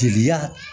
Jeliya